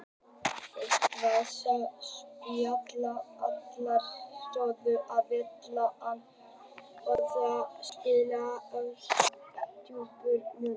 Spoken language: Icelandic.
Edwards gat spilað allar stöður á vellinum en oftast spilaði hann sem djúpur miðjumaður.